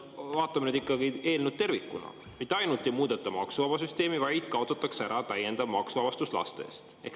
Vaatame nüüd eelnõu ikkagi tervikuna – mitte ainult ei muudeta maksuvabasüsteemi, vaid kaotatakse ära täiendav maksuvabastus laste eest.